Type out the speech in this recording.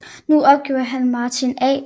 Nu opgiver han er Martin A